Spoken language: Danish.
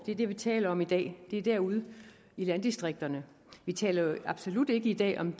er det vi taler om i dag det er derude i landdistrikterne vi taler jo absolut ikke i dag om